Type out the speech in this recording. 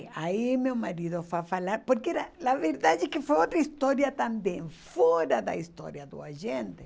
Aí meu marido foi falar, porque era a verdade é que foi outra história também, fora da história do agente.